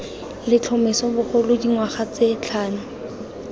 letlhomeso bogolo dingwaga tse tlhano